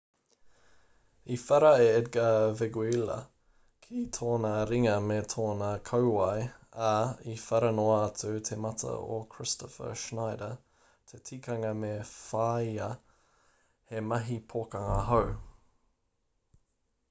i whara a edgar veguilla ki tōna ringa me tōna kauae ā i whara noa atu te mata o kristoffer schneider te tikanga me whāia he mahi pokanga hou